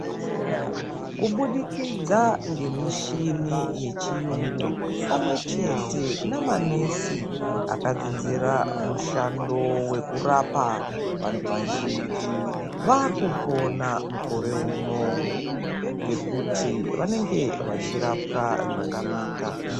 Kubudikidza ngemishini yechiyungu pamwe chete nemanesi akadzidzira mushando wekurapa vantu vazhinji vakupora mukore uno ngekuti vanenge vachirapwa zvakanaka.